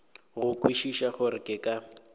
go kwešiša gore ke ka